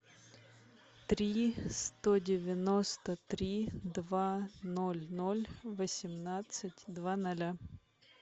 три сто девяносто три два ноль ноль восемнадцать два ноля